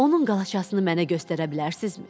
Onun qalaçasını mənə göstərə bilərsizmi?